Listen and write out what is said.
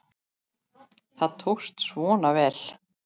Það tókst svona vel.